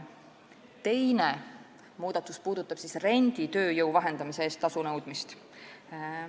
Teine muudatus puudutab renditööjõu vahendamise eest tasu nõudmist.